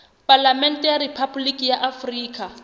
palamente ya rephaboliki ya afrika